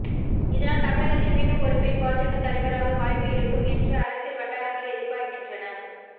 இதனால் தமிழகத்தில் மீண்டும் ஒரு பெண் பாஜக தலைவராக வாய்ப்பு இருக்கும் என்று அரசியல் வட்டாரங்கள் எதிர்பார்க்கின்றன